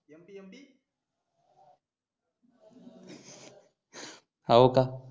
होका हा